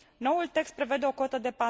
Noul text prevede o cotă de